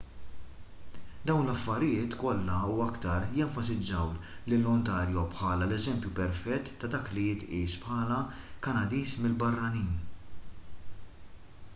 dawn l-affarijiet kollha u aktar jenfasizzaw lil ontario bħala l-eżempju perfett ta' dak li jitqies bħala kanadiż mill-barranin